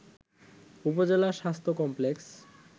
উপজেলা স্বাস্থ্য কমপ্লেক্স